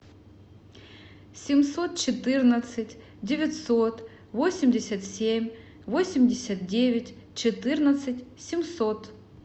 семьсот четырнадцать девятьсот восемьдесят семь восемьдесят девять четырнадцать семьсот